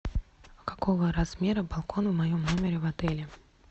какого размера балкон в моем номере в отеле